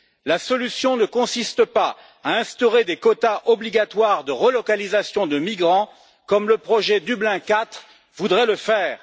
La solution ne consiste pas à instaurer des quotas obligatoires de relocalisation de migrants, comme le projet Dublin IV voudrait le faire.